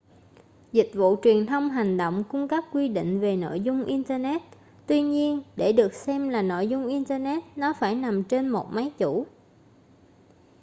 dịch vụ truyền thông hành động cung cấp quy định về nội dung internet tuy nhiên để được xem là nội dung internet nó phải nằm trên một máy chủ